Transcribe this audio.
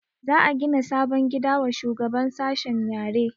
Za a gina sabon gida wa shugaban sashen yare